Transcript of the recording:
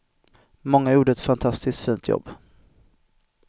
Många gjorde ett fantistiskt fint jobb.